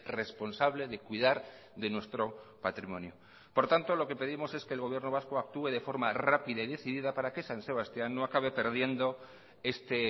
responsable de cuidar de nuestro patrimonio por tanto lo que pedimos es que el gobierno vasco actúe de forma rápida y decidida para que san sebastián no acabe perdiendo este